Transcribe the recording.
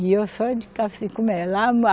E eu só de